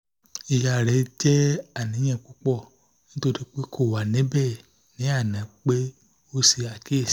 iya rẹ jẹ aniyan pupọ nitori pe ko wa nibẹ ni ana pe o ṣe akiyesi